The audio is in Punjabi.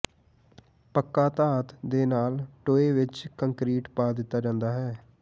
ਪੱਕਾ ਧਾਤ ਦੇ ਨਾਲ ਟੋਏ ਵਿੱਚ ਕੰਕਰੀਟ ਪਾ ਦਿੱਤਾ ਜਾਂਦਾ ਹੈ